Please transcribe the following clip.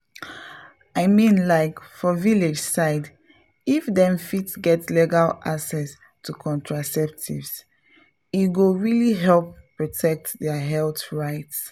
i mean like for village side if dem fit get legal access to contraceptives e go really help protect their health rights.